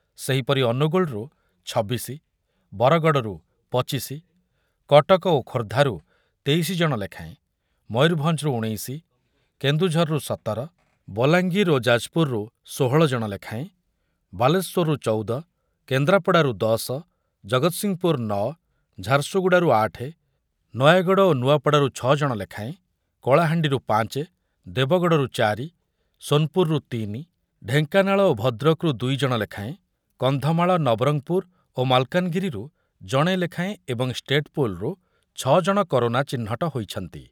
ସେହିପରି ଅନୁଗୁଳରୁ ଛବିଶି, ବରଗଡ଼ରୁ ପଚିଶି, କଟକ ଓ ଖୋର୍ଦ୍ଧାରୁ ତେଇଶିଜଣ ଲେଖାଏଁ, ମୟୂରଭଞ୍ଜରୁ ଉଣେଇଶି, କେନ୍ଦୁଝରରୁ ସତର, ବଲାଙ୍ଗୀର ଓ ଯାଜପୁରରୁ ଷୋହଳଜଣ ଲେଖାଏଁ ବାଲେଶ୍ବରରୁ ଚଉଦ, କେନ୍ଦ୍ରାପଡ଼ାରୁ ଦଶ, ଜଗତସିଂହପୁରରୁ ନଅ, ଝାରସୁଗୁଡ଼ାରୁ ଆଠ, ନୟାଗଡ଼ ଓ ନୂଆପଡ଼ାରୁ ଛଅଜଣ ଲେଖାଏଁ, କଳାହାଣ୍ଡିରୁ ପାଞ୍ଚ, ଦେବଗଡ଼ରୁ ଚାରି, ସୋନପୁରରୁ ତିନି, ଢେଙ୍କାନାଳ ଓ ଭଦ୍ରକରୁ ଦୁଇଜଣ ଲେଖାଁଏ, କନ୍ଧମାଳ, ନବରଙ୍ଗପୁର ଓ ମାଲକାନଗିରିରୁ ଜଣେ ଲେଖାଏଁ ଏବଂ ଷ୍ଟେଟ୍‌ପୁଲ୍‌ରୁ ଛଅଜଣ କରୋନା ଚିହ୍ନଟ ହୋଇଛନ୍ତି।